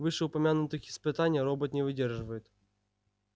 вышеупомянутых испытаний робот не выдерживает